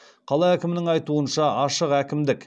қала әкімінің айтуынша